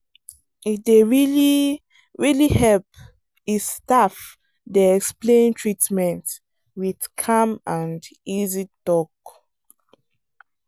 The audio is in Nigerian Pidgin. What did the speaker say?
e dey really really help if staff dey explain treatment with calm and easy talk.